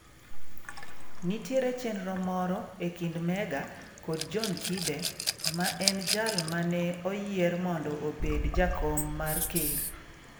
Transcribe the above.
Nitiere chenro moro e kind Mega kod John Kibe, ma en jal ma ne oyier mondo obed jakom mar ker.